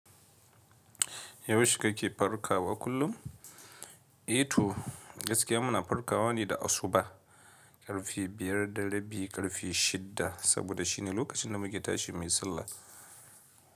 Yaushe kake farkawa kullum? E to, gaskiya muna farkawa ne da asuba, karfe biyar da rabi, karfe shida saboda shi ne lokacin da muke tashi muyi sallah.